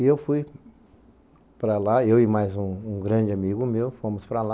E eu fui para lá, eu e mais um um grande amigo meu, fomos para lá.